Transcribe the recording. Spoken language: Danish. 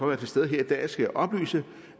være til stede her i dag skal jeg oplyse